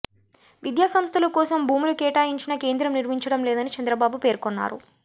విద్యాసంస్థల కోసం భూములు కేటాయించినా కేంద్రం నిర్మించడం లేదని చంద్రబాబు పేర్కొన్నారు